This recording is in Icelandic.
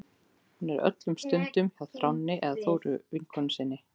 Hún er öllum stundum hjá Þráni eða Þóru vinkonu sinni.